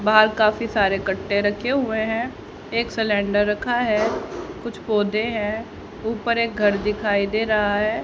बाहर काफी सारे कट्टे रखे हुए हैं एक सिलेंडर रखा है कुछ पौधे हैं ऊपर एक घर दिखाई दे रहा है।